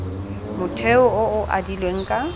motheo o o adilweng ka